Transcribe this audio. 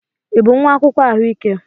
Ị bụ nwa akwụkwọ ahụike?